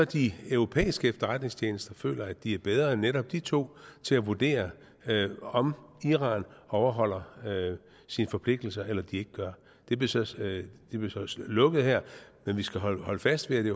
de europæiske efterretningstjenester så føler at de er bedre end netop de to til at vurdere om iran overholder sine forpligtelser eller de ikke gør det blev så lukket her men vi skal holde holde fast ved at det